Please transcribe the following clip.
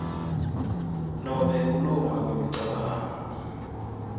nobe kulunga kwemicabango